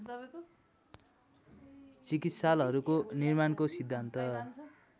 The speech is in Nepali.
चिकित्सालहरूको निर्माणको सिद्धान्त